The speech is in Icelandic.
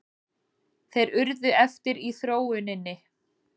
Þeir urðu eftir í þróuninni.